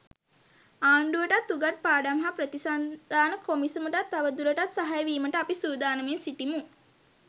ආණ්ඩුවටත් උගත් පාඩම් හා ප්‍රතිසන්ධාන කොමිසමටත් තව දුරටත් සහාය වීමට අපි සූදානමින් සිටිමු.